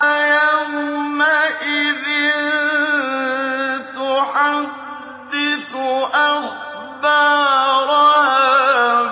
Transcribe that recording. يَوْمَئِذٍ تُحَدِّثُ أَخْبَارَهَا